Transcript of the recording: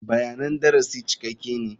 Bayanan darasi cikakke ne.